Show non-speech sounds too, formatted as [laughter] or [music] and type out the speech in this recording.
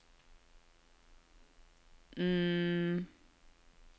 [hesitation]